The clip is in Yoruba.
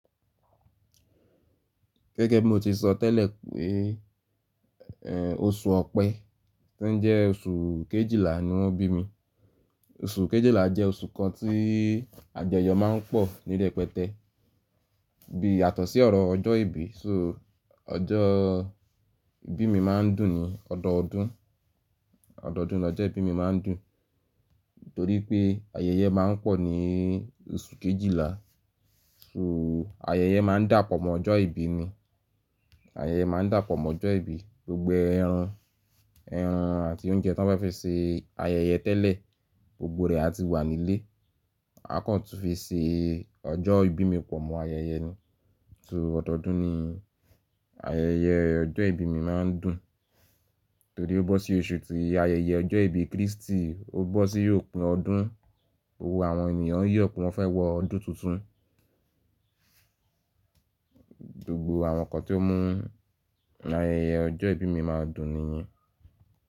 Gẹ́gẹ́ bí mo ti sọ tẹ́lẹ̀ pé, ẹ́ oṣù Ọ̀pẹ́ to ń jẹ́ oṣù Kejìlá ni wọ́n bí mi. Oṣù Kejìlá jẹ́ oṣù kan tí àjọyọ̀ má ń pọ̀ ní rẹ̀pẹtẹ́ bí yàtọ̀sí ọ̀rọ̀ ọjọ́ ìbí. So ọjọ́ ìbí mi má ń dùn ni ọdọọdún, ọdọọdún ni ọjọ́ ìbí mi má ń dùn. Nítorí pé ayẹyẹ má ń pọ̀ ní oṣù Kejìlá, so ayẹyẹ má ń dàpọ̀ mọ́ ọjọ́ ìbí ni. Ayẹyẹ má ń dàpọ̀ mọ́ ọjọ́ ìbí, gbogbo ẹran, ẹran àti oúnjẹ tí wọ́n bá fe ṣe ayẹyẹ tẹ́lẹ̀ gbogbo rẹ̀ á ti wà nílé. A kàn tú fi ṣe ọjọ́ ìbí mi pọ̀ mọ́ ayẹyẹ ni. So ọdọọdún ni ayẹyẹ ọjọ́ ìbí mi má ń dùn. Torí ó bọ́ sí oṣù tí ayẹyẹ ọjọ́ ìbí Krístì, ó bọ́ sí òpin ọdún, gbogbó àwọn ènìyàn n yọ̀ pé wọ́n fẹ́ wọ ọdún tuntun. Gbogbo àwọn nǹkan tí ó mú ayẹyẹ ọjọ́ ìbí mi máa dùn nìyẹn.